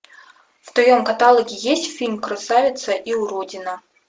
в твоем каталоге есть фильм красавица и уродина